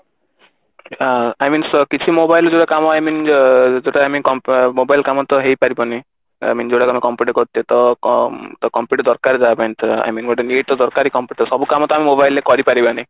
ଅ I mean କିଛି mobile I mean ଅ ଯୋଉଟା ଆମେ mobile କାମ ତ ହେଇ ପାରିବନି I mean ଯୋଉଟା ତମେ computer ରେ କରୁଛେ ତ କ ଅ computer ଦରକାର ତା ପାଇଁ I mean ଗୋଟେ ଇଏ ତ ଦରକାର computer ସବୁ କାମ ତ ଆମେ mobile ରେ କରି ପାରିବାନି